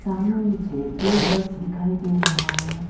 सामने मुझे दो बस दिखाई दे रहा है।